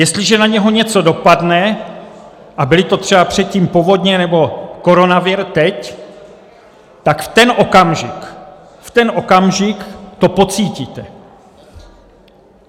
Jestliže na něj něco dopadne, a byly to třeba předtím povodně nebo koronavir teď, tak v ten okamžik, v ten okamžik to pocítíte.